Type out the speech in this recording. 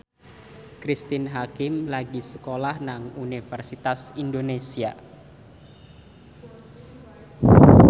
Cristine Hakim lagi sekolah nang Universitas Indonesia